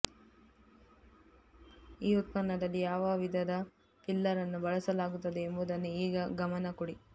ಈ ಉತ್ಪನ್ನದಲ್ಲಿ ಯಾವ ವಿಧದ ಫಿಲ್ಲರ್ ಅನ್ನು ಬಳಸಲಾಗುತ್ತದೆ ಎಂಬುದನ್ನು ಈಗ ಗಮನ ಕೊಡಿ